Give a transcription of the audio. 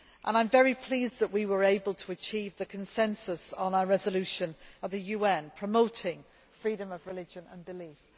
I am very pleased that we were able to achieve the consensus on our UN resolution promoting freedom of religion and belief.